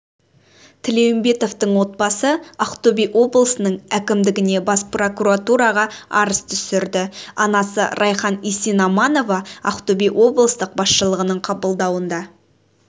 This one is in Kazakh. тілеумбетовтың отбасы ақтөбе облысының әкімдігіне бас прокуратураға арыз түсірді анасы райхан есенаманова ақтөбе облыстық басшылығының қабылдауында